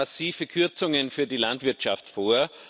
Sie schlagen massive Kürzungen für die Landwirtschaft vor.